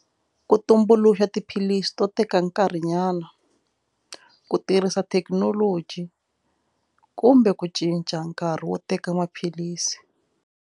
Ku tumbuluxa tiphilisi to teka nkarhinyana ku tirhisa thekinoloji kumbe ku cinca nkarhi wo teka maphilisi.